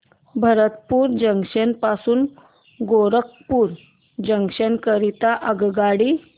Bharatpur junction पासून Gorakhpur junction करीता आगगाडी